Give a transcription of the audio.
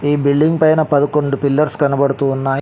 ఈ బిల్డింగ్ పైన పదకొండు పిల్లర్స్ కనబడుతూ వున్నాయ్.